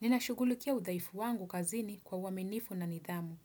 Ninashughulikia udhaifu wangu kazini kwa uaminifu na nidhamu.